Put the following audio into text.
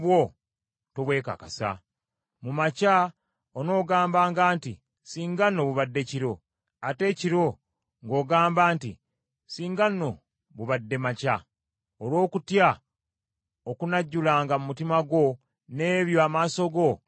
Mu makya onoogambanga nti, “Singa nno bubadde kiro!” Ate ekiro ng’ogamba nti, “Singa nno bubadde makya!” olw’okutya okunajjulanga mu mutima gwo, n’ebyo amaaso go bye ganaalabanga.